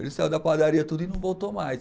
Ele saiu da padaria e tudo e não voltou mais.